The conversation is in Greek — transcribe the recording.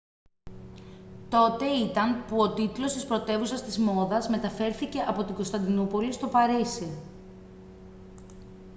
τότε ήταν που ο τίτλος της πρωτεύουσας της μόδας μεταφέρθηκε από την κωνσταντινούπολη στο παρίσι